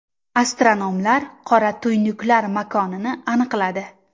Astronomlar qora tuynuklar makonini aniqladi.